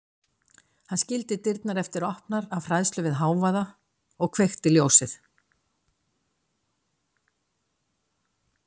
Hann skildi dyrnar eftir opnar af hræðslu við hávaða og kveikti ljósið.